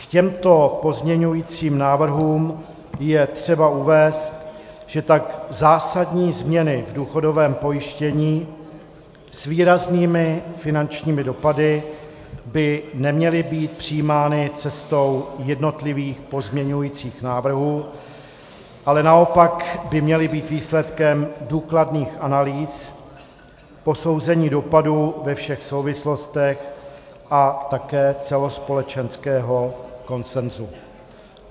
K těmto pozměňovacím návrhům je třeba uvést, že tak zásadní změny v důchodovém pojištění s výraznými finančními dopady by neměly být přijímány cestou jednotlivých pozměňovacích návrhů, ale naopak by měly být výsledkem důkladných analýz, posouzení dopadu ve všech souvislostech a také celospolečenského konsenzu.